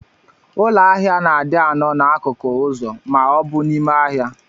Ụlọ ahia na adi anọ na akukụ ụzọ ma obu n'ime ahia.